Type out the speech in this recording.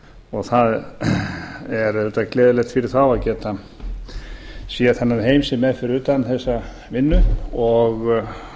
leik það er auðvitað gleðilegt fyrir þá að geta séð þennan heim sem er fyrir utan þessa vinnu og